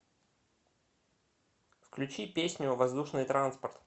включи песню воздушный транспорт